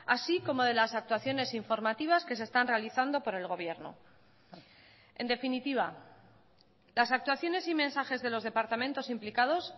así como de las actuaciones informativas que se están realizando por el gobierno en definitiva las actuaciones y mensajes de los departamentos implicados